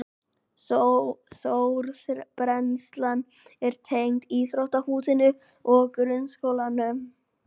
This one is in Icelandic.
Sorpbrennslan er tengd íþróttahúsinu og grunnskólanum